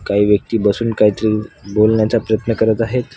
काही व्यक्ती बसून काहीतरी बोलण्याचा प्रयत्न करत आहेत.